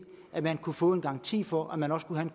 at man kunne få en garanti for at man også kunne have